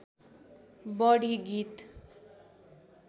बढि गीत